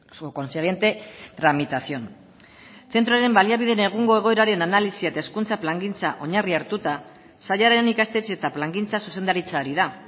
su consiguiente tramitación zentroren baliabideen egungo egoeraren analisia eta hezkuntza plangintza oinarri hartuta sailaren ikastetxe eta plangintza zuzendaritza ari da